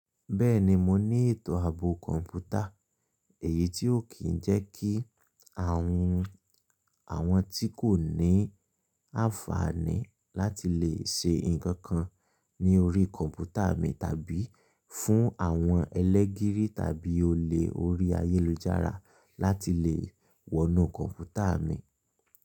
Bẹ́ẹ̀ni, mo ní ètò ààbò kọ̀ǹpútà, èyí tí ó kì í jẹ́ kí àwọn tí kò ní àǹfààní láti lè ṣe nǹkan kan ní orí kọ̀ǹpútà mi tàbí fún àwọn ẹlẹ́gírí tàbí olè orí ayélujára láti lè wọnú kọ̀ǹpútà mi.